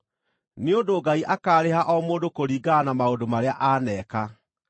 Nĩ ũndũ Ngai akaarĩha o mũndũ kũringana na maũndũ marĩa aaneka.